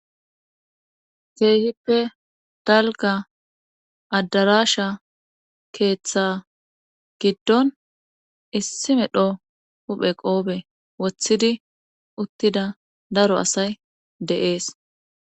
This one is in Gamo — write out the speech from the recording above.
Keehippe talga adarasha keeththa giddon issi medho huphe qoobe woththidi uttida daro asay deees.